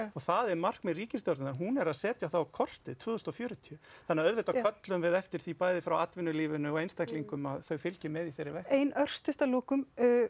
það er markmið ríkisstjórnarinnar hún er að setja það á kortið tvö þúsund og fjörutíu þannig auðvitað köllum við eftir því bæði frá atvinulífinu og einstaklingum að þau fylgi með í þeirri vegferð ein örsnögg að lokum